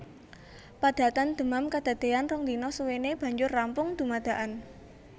Padatan demam kadadéyan rong dina suwéné banjur rampung dumadakan